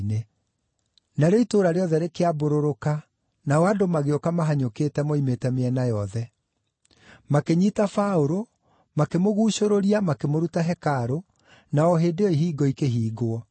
Narĩo itũũra rĩothe rĩkĩambũrũrũka nao andũ magĩũka mahanyũkĩte moimĩte mĩena yothe. Makĩnyiita Paũlũ, makĩmũguucũrũria makĩmũruta hekarũ, na o hĩndĩ ĩyo ihingo ikĩhingwo.